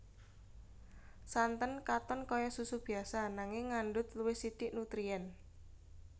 Santen katon kaya susu biasa nanging ngandhut luwih sithik nutrien